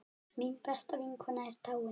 Mín besta vinkona er dáin.